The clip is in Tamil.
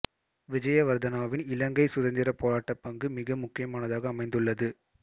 விஜயவர்த்தனாவின் இலங்கை சுதந்திர போராட்ட பங்கு மிக முக்கியமானதாக அமைந்துள்ளது